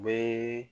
U bɛ